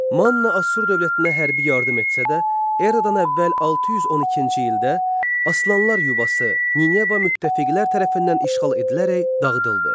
Manna Assur dövlətinə hərbi yardım etsə də, eradan əvvəl 612-ci ildə aslanlar yuvası Nineva müttəfiqlər tərəfindən işğal edilərək dağıdıldı.